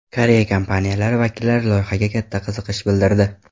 Koreya kompaniyalari vakillari loyihaga katta qiziqish bildirdi.